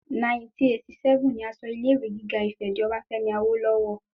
1987 ni a sọ ilé ìwé gíga Ifè di ti Obafemi Awolowo